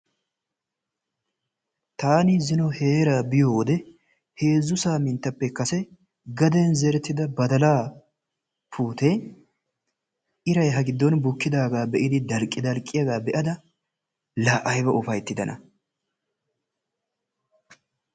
Taani zino heeraa biyoode heezzu saminttappe kase gaden zerettida badalaa puutiyaa iray ha giddon bukkidagaa be'idi dalqqi dalqqiyaagaa be'ada ayba ufayttidaana.